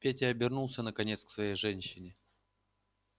петя обернулся наконец к своей женщине